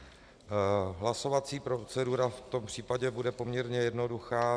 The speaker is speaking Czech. Hlasovací procedura v tom případě bude poměrně jednoduchá.